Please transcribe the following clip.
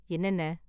என்னென்ன?